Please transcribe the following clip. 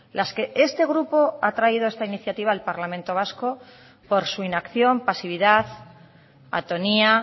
las que este grupo ha traído esta iniciativa al parlamento vasco por su inacción pasividad atonía